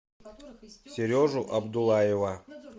сережу абдуллаева